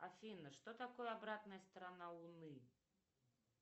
афина что такое обратная сторона луны